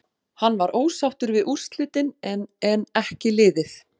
Hann var ósáttur við úrslitin en en ekki liðið.